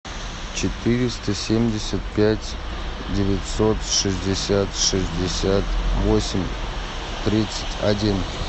четыреста семьдесят пять девятьсот шестьдесят шестьдесят восемь тридцать один